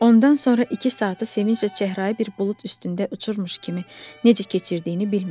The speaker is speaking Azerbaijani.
Ondan sonra iki saatı sevincdən çəhrayı bir bulud üstündə uçurmuş kimi necə keçirdiyini bilmədi.